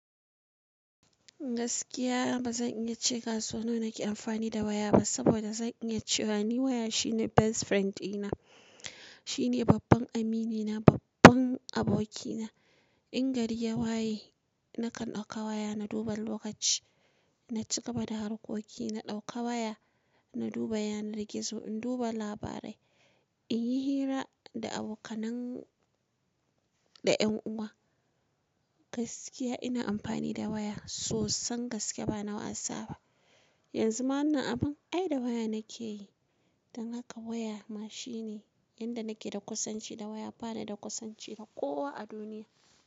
Gaskiya bazan iya ce kaso nawa nake amfani da waya ba saboda zan iya cewa ni waya shine best friend dina. Shine babban amini na babban aboki na. In gari ya waye nakan ɗauka waya na duba lokaci, na cika bada harkoki, na ɗauka waya, na duba yana rigizo, in duba labarai, in yi hira da abokanai da ƴan uwa. Gaskiya ina amfani da waya sosan gaske bana wasa ba. Yanzu ma wannan abun ai da waya nake yi. Dan haka waya ma shine inda nake da kusanci da waya bana da kusanci da kowa a duniya.